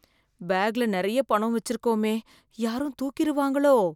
பேக்ல நிறைய பணம் வெச்சிருக்கோமே, யாரும் தூக்கிருவாங்களோ?